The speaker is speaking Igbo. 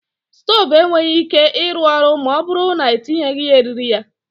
Stove enweghi ike ịrụ ọrụ ma ọ bụrụ na-etinyeghi ya eriri ya